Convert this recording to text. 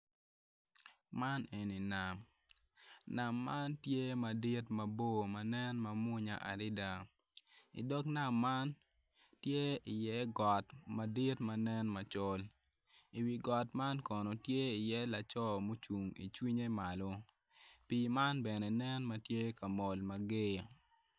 Man eni nam nam man tye ka nen mamwonya adada i dog nam man tye iye got madit. I wi got man kono tye laco ma oilo cinge malo pii man bene ne ma tye ka mol.